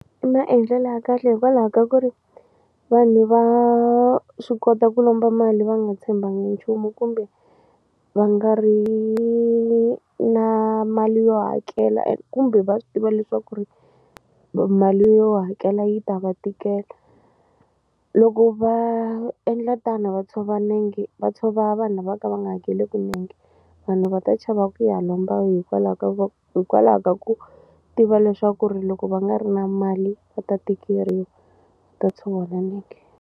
I maendlelo ya kahle hikwalaho ka ku ri vanhu va swi kota ku lomba mali va nga tshembakangi nchumu kumbe va nga ri na mali yo hakela kumbe va swi tiva leswaku ri mali yo hakela yi ta va tikela loko va endla tano va tshova nenge va tshova vanhu lava ka va nga hakeleku nenge vanhu va ta chava ku ya lomba hikwalaho ka ku hikwalaho ka ku tiva leswaku ri loko va nga ri na mali va ta tikeriwa ta tshoveka nenge.